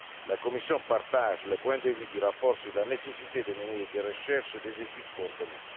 La Commission partage le point de vue du rapport sur la nécessité de mener des recherches et des études coordonnées.